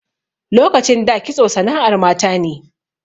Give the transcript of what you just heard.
Lokacin da kitso sana'ar mata ne.